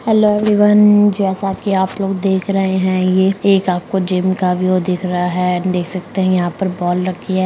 Hello everyone जैसा की आप लोग देख रहें हैं ये एक आपको जिम का व्यू दिख रहा है देख सकते हैं यहाँ पर बॉल रखी है।